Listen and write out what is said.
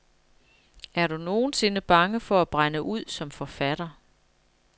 Er du nogensinde bange for at brænde ud som forfatter?